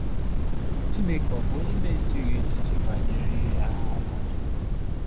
Chineke ọ̀ bụ onye na-echeghị echiche banyere ahụhụ mmadụ?